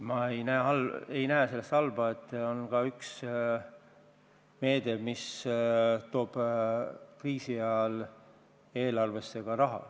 Ma ei näe selles halba, et on ka üks selline meede, mis toob kriisi ajal eelarvesse raha.